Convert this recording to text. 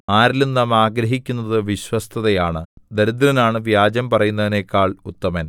ആരിലും നാം ആഗ്രഹിക്കുന്നതു വിശ്വസ്തതയാണ് ദരിദ്രനാണു വ്യാജം പറയുന്നവനെക്കാൾ ഉത്തമൻ